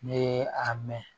Ne a mɛn